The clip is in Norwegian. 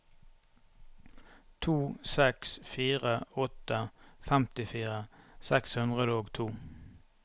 to seks fire åtte femtifire seks hundre og to